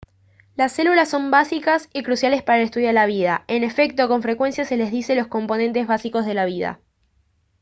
las células son básicas y cruciales para el estudio de la vida. en efecto con frecuencia se les dice «los componentes básicos de la vida»